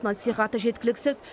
насихаты жеткіліксіз